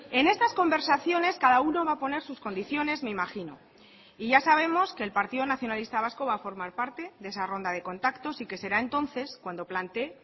en estas conversaciones cada uno va a poner sus condiciones me imagino y ya sabemos que el partido nacionalista vasco va a formar parte de esa ronda de contactos y que será entonces cuando plantee